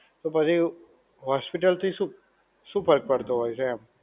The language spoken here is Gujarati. તો બધી hospital થી શું, શું ફર્ક પડતો હોય છે?